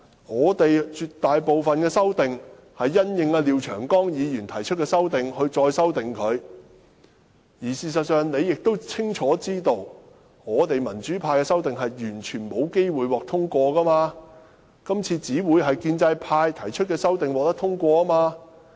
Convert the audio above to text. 我們絕大部分的修訂，是因應廖長江議員提出的修訂而作的，而事實上你也清楚知道，民主派的修訂是完全沒有機會獲得通過的，今次只會通過建制派提出的修訂。